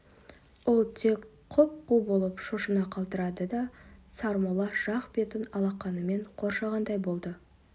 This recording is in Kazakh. ол тек құп-қу болып шошына қалтырады да сармолла жақ бетін алақанымен қоршағандай болды